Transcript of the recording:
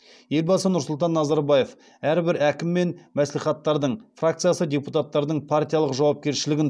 елбасы нұрсұлтан назарбаев әрбір әкім мен мәслихаттардың фракция депутаттарының партиялық жауапкершілігін